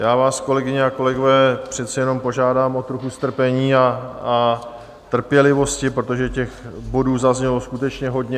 Já vás, kolegyně a kolegové, přeci jenom požádám o trochu strpení a trpělivosti, protože těch bodů zaznělo skutečně hodně.